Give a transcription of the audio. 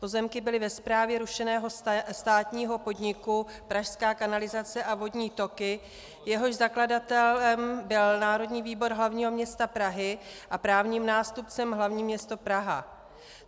Pozemky byly ve správě rušeného státního podniku Pražská kanalizace a vodní toky, jehož zakladatelem byl Národní výbor hlavního města Prahy a právním nástupcem hlavní město Praha.